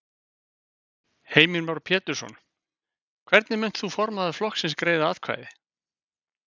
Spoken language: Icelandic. Heimir Már Pétursson: Hvernig munt þú formaður flokksins greiða atkvæði?